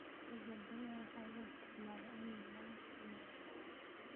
Gabbaldayaha waxaa loo isticmaalaa in laga sameeyo saliid.